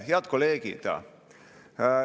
Head kolleegid!